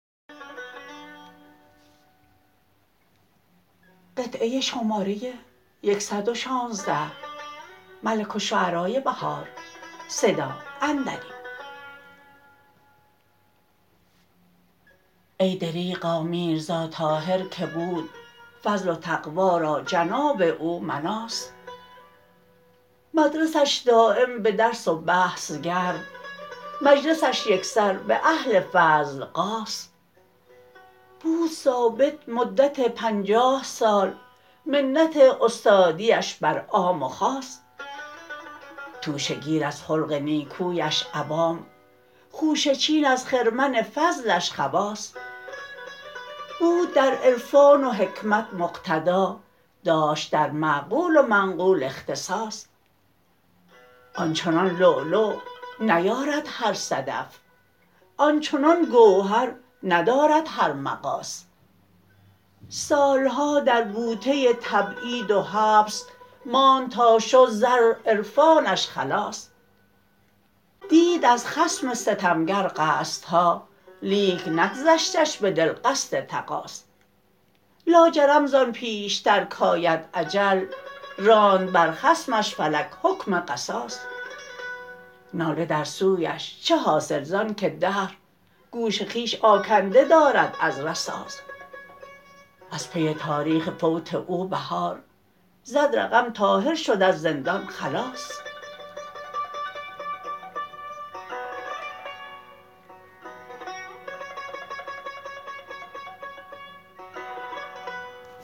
ای دربغا میرزا طاهر که بود فضل و تقوی را جناب او مناص مدرسش دایم به درس و بحث گرم مجلسش یکسر به اهل فضل غاص بود ثابت مدت پنجاه سال منت استادیش بر عام و خاص توشه گیر از خلق نیکویش عوام خوشه چین از خرمن فضلش خواص بود در عرفان و حکمت مقتدا داشت در معقول و منقول اختصاص آن چنان لولو نیارد هر صدف آن چنان گوهر ندارد هر مغاص سال ها در بوته تبعید و حبس ماند تا شد زر عرفانش خلاص دید از خصم ستمگر قصدها لیک نگذشتش به دل قصد تقاص لاجرم زان پیشتر کاید اجل راند بر خصمش فلک حکم قصاص ناله در سویش چه حاصل زان که دهر گوش خویش آکنده دارد از رصاص از پی تاریخ فوت او بهار زد رقم طاهر شد از زندان خلاص